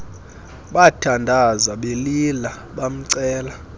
bathandaza belila bamcela